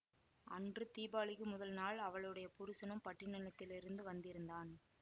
அன்று தீபாளிக்கு முதல் நாள் அவளுடைய புருஷனும் பட்டிணத்திலிருந்து வந்திருந்தான்